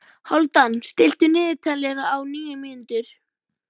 Hálfdan, stilltu niðurteljara á níu mínútur.